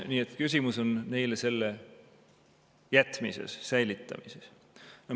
Nii et küsimus on neile selle jätmises, säilitamises.